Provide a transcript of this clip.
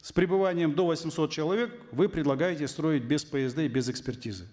с пребыванием до восьмисот человек вы предлагаете строить без псд и без экспертизы